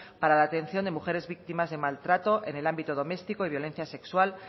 para la atención de mujeres víctimas del maltrato en el ámbito doméstico y violencia sexual